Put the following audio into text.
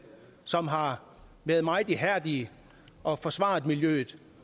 som har været meget ihærdige og forsvaret miljøet